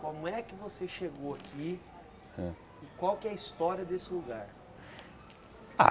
Como é que você chegou aqui Hã e qual que é a história desse lugar? Ah